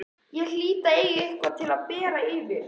Ég hlýt að eiga eitthvað til að bera yfir.